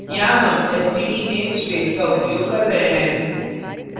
यहाँ हम std namespace का उपयोग कर रहे हैं